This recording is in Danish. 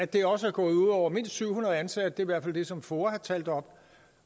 det er også gået ud over mindst syv hundrede ansatte det hvert fald det som foa har talt op